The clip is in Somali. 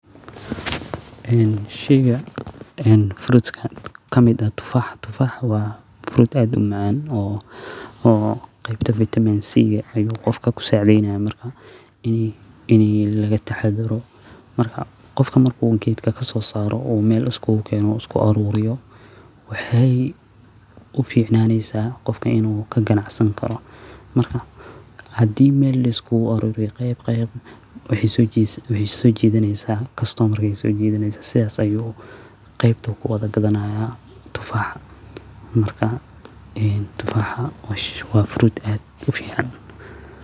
Sheygan waa frut kamid ah tufaax waa fruut aad umacaan qeebta vitaminka ayuu qofka kasacidayaa qofka haduu meel isku keeno dadka ayeey soo jidaneysa waa fruut aad iyo aad ufican oo macaan.